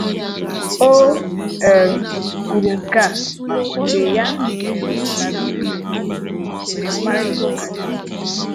O um kwuru nke a mgbe ya um na BBC Igbo nwere mkparịtaụka n'Enugwu